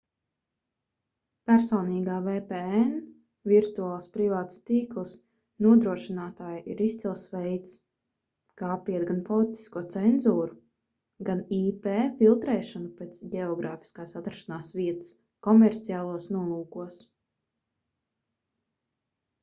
personīgā vpn virtuāls privāts tīkls nodrošinātāji ir izcils veids kā apiet gan politisko cenzūru gan ip filtrēšanu pēc ģeogrāfiskās atrašanās vietas komerciālos nolūkos